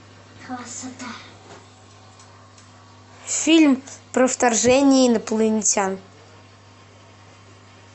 фильм про вторжение инопланетян